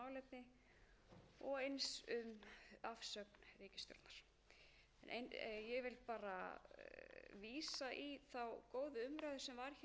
í þá góðu umræðu sem var hér bæði þegar málið var lagt fram í fyrsta